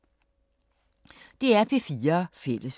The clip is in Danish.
DR P4 Fælles